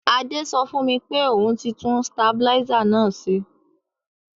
Adé so fùn mi pe oun ti tun stabilizer náà se